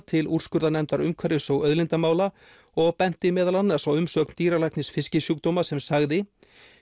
til úrskurðarnefndar umhverfis og auðlindamála og benti meðal annars á umsögn dýralæknis fiskisjúkdóma sem sagði